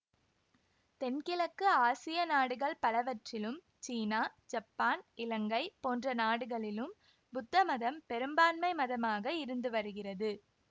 தென்கிழக்கு ஆசிய நாடுகள் பலவற்றிலும் சீனா ஜப்பான் இலங்கை போன்ற நாடுகளிலும் புத்த மதம் பெரும்பான்மை மதமாக இருந்து வருகிறது